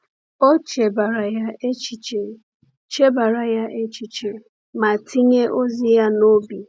O chebara ya echiche chebara ya echiche ma tinye ozi ya n’obi.